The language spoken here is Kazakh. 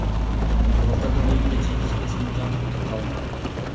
былтырдың өзінде жетпіс бес мың жан құлдыққа алынған